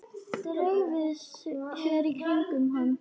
Dreifi sér í kringum hann.